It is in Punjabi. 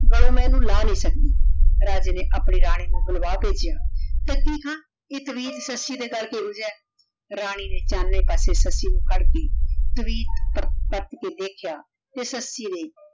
ਗਾਲੋੰ ਮੈਂ ਏਨੁ ਲਾ ਨਹੀ ਸਕਦੀ ਰਾਜੇ ਨੇ ਆਪਣੀ ਰਾਨੀ ਨੂ ਬੁਲਵਾ ਕੇ ਕੇਹਾ ਦੇਖੀ ਹਾਂ ਈਯ ਤਵੀਤ ਸੱਸੀ ਦੇ ਗਲ ਕਹੋ ਜੇਯ ਆਯ ਰਾਨੀ ਨੇ ਪਾਸੇ ਸੱਸੀ ਨੂ ਫਾਰ ਕੇ ਤਵੀਤ ਪਰਤ ਕੇ ਦੇਖ੍ਯਾ ਤੇ ਸੱਸੀ ਨੇ